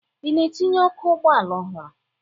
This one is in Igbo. Ị na-etinye ọkụ ụgbọala ọhụrụ?